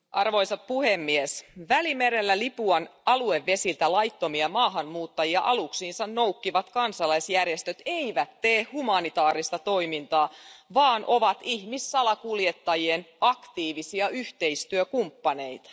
Arvoisa puhemies, Välimerellä Libyan aluevesiltä laittomia maahanmuuttajia aluksiinsa noukkivat kansalaisjärjestöt eivät tee humanitaarista toimintaa, vaan ovat ihmissalakuljettajien aktiivisia yhteistyökumppaneita.